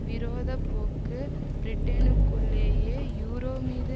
விரோத போக்கு பிரிட்டனுக்குள்ளேயே யூரோ மீது